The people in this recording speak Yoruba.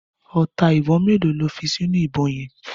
Ọta ìbọn mélòó lo fi sínú ìbọn yẹn.